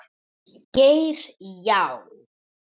Geir Já.